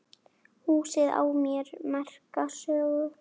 Húsið á sér merka sögu.